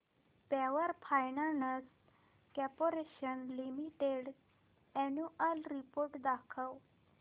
power finance corporation limited annual report दाखव